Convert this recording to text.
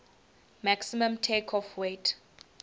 maximum takeoff weight